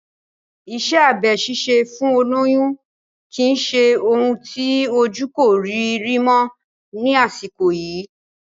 Iṣẹ́ abẹ ṣíṣe fún olóyún kì í ṣe ohun tí ojú kò rí rí mọ́ ni àsìkò yìí